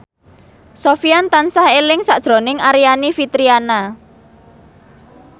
Sofyan tansah eling sakjroning Aryani Fitriana